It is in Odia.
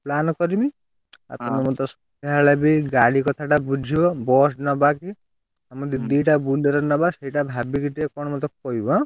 Plan କରିମି ଆଉ ତମେ ମତେ ସନ୍ଧ୍ୟାବେଳେ ବି ଗାଡି କଥା ଟା ବୁଝିବ bus ନବା କି ମାନେ ଦି ଟା Bolero ନବା ସେଇଟା ଭାବିକି ଟିକେ କଣ ମତେ କହିବ।